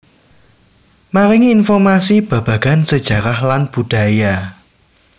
Maringi informasi babagan sejarah lan budaya